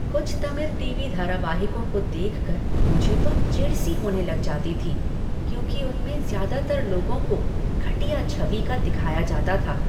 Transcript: कुछ तमिल टीवी धारावाहिकों को देखकर मुझे तो चिढ़ सी होने लग जाती थी, क्योंकि उनमें ज़्यादातर लोगों को घटिया छवि का दिखाया जाता था।